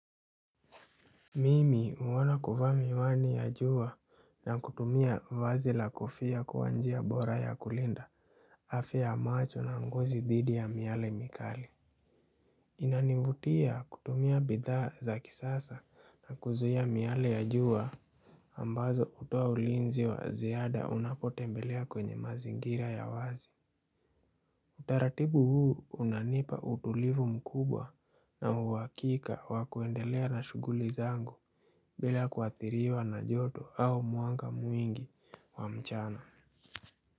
Mimi huona kuvaa miwani ya jua na kutumia vazi la kofia kuwa njia bora ya kulinda afya ya macho na ngozi dhidi ya miale mikali. Inanivutia kutumia bidhaa za kisasa na kuzuia miale ya jua ambazo hutoa ulinzi wa ziada unapotembelea kwenye mazingira ya wazi. Utaratibu huu unanipa utulivu mkubwa na uwakika wakuendelea na shuguli zangu bila kuathiriwa na joto au mwanga mwingi wa mchana.